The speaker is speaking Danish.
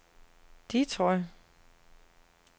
Detroit